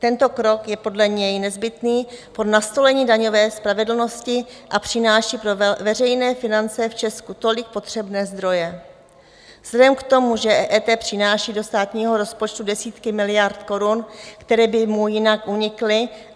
Tento krok je podle něj nezbytný pro nastolení daňové spravedlnosti a přináší pro veřejné finance v Česku tolik potřebné zdroje vzhledem k tomu, že EET přináší do státního rozpočtu desítky miliard korun, které by mu jinak unikly.